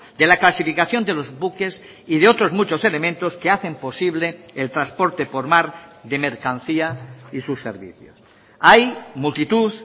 de la clasificación de los buques y de otros muchos elementos que hacen posible el transporte por mar de mercancía y sus servicios hay multitud